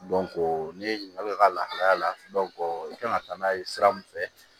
ne ye ɲininka i ka lahalaya la i kan ka taa n'a ye sira min fɛ